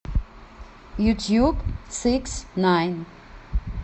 ютуб сикснайн